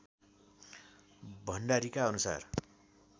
भण्डारीका अनुसार